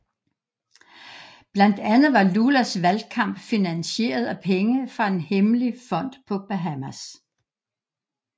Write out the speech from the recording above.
Blandt andet var Lulas valgkamp finansieret af penge fra en hemmelig fond på Bahamas